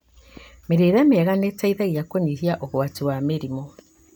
Mĩrĩre mĩega nĩĩteithagia kũnyihia ũgwati wa mĩrimũ